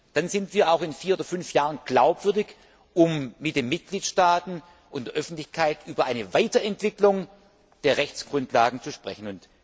Dann sind wir auch in vier oder fünf Jahren glaubwürdig, um mit den Mitgliedstaaten und der Öffentlichkeit über eine Weiterentwicklung der Rechtsgrundlagen zu sprechen.